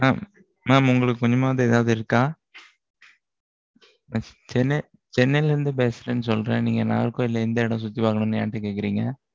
mam mam உங்களுக்கு, கொஞ்சமாவது, ஏதாவது இருக்கா? சென்னையில இருந்து பேசுறேன்னு சொல்றேன். நீங்க நாகர்கோவில்ல, எந்த இடம் சுத்தி வாங்கணும்னு, என்கிட்ட கேக்குறீங்க?